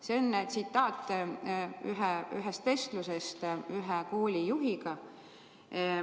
See on tsitaat ühest vestlusest ühe koolijuhiga.